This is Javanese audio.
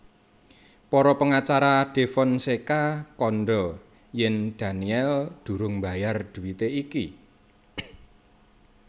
Para pengacara Defonseca kandha yèn Daniel durung mbayar dhuwité iki